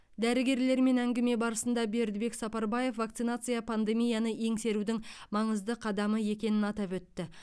дәрігерлермен әңгіме барысында бердібек сапарбаев вакцинация пандемияны еңсерудің маңызды қадамы екенін атап өтті